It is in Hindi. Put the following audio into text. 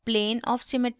plane of symmetry